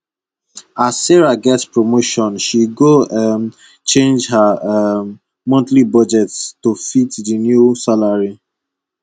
as sarah get promotion she go um change ha um monthly budget to fit di new salary